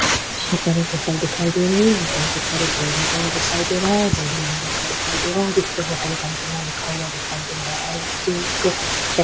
यहाँ पर एक होटल दिखाई दे रही है हॉटेल के ऊपर एक बोर्ड लगा हुआ दिखाई दे रहा है बोर्ड लाल रंग का दिखाई दे रहा है हॉटेल कल्पना लिखा हुआ दिखाई दे रहा है चेक श--